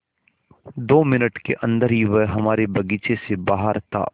दो मिनट के अन्दर ही वह हमारे बगीचे से बाहर था